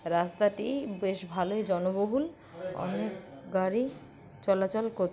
রাস্তাটি বেশ ভালোই জনবহুল অনেক গাড়ি চলাচল কর-- ।